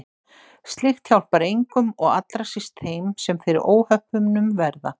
Slíkt hjálpar engum og allra síst þeim sem fyrir óhöppunum verða.